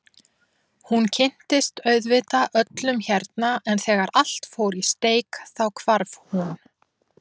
Hún kynntist auðvitað öllum hérna en þegar allt fór í steik þá hvarf hún.